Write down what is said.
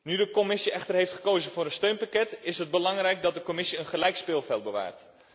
Nu de Commissie echter heeft gekozen voor een steunpakket, is het belangrijk dat de Commissie een gelijk speelveld bewaart.